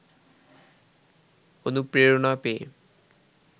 অনুপ্রেরণা পেয়ে